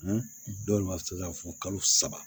dɔ ma se ka fɔ kalo saba